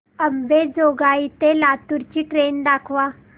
अंबेजोगाई ते लातूर ची ट्रेन दाखवा